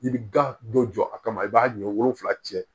I bi da dɔ jɔ a kama i b'a ɲɔ wolonvila cɛ